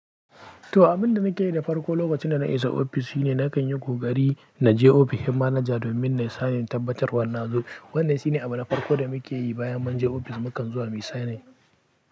To, abin da nake yi da farko lokacin da na isa ofis shine nakan yi ƙogari na je ofishin manaja domin nayi sanin tabbatar wa nazo. Wannan shine abu na farko da muke yi bayan mun je ofis, mukan zuwa muyi signing.